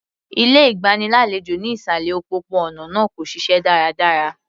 Ilé ìgbàlejò ní ìsàlẹ̀ òpópó-ònà náà kò ṣiṣẹ́ dáradára.